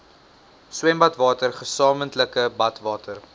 swembadwater gesamentlike badwater